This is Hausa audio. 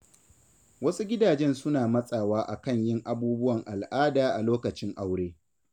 Wasu gidajen suna matsawa a kan yin abubuwan al'ada a lokacin aure.